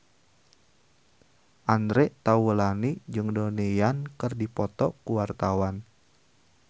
Andre Taulany jeung Donnie Yan keur dipoto ku wartawan